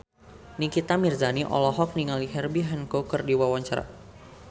Nikita Mirzani olohok ningali Herbie Hancock keur diwawancara